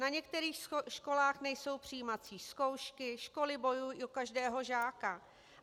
Na některých školách nejsou přijímací zkoušky, školy bojují o každého žáka.